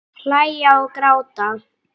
Hlæja og gráta.